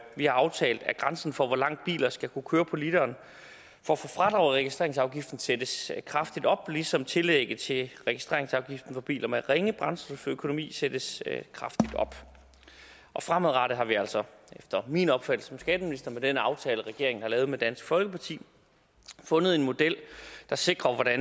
har aftalt at grænsen for hvor langt biler skal kunne køre på literen for at få fradrag i registreringsafgiften sættes kraftigt op ligesom tillægget til registreringsafgiften for biler med ringe brændstoføkonomi sættes kraftigt op og fremadrettet har vi altså efter min opfattelse som skatteminister med den aftale regeringen har lavet med dansk folkeparti fundet en model der sikrer at